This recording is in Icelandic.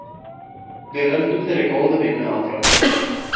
Við höldum þeirri góðu vinnu áfram.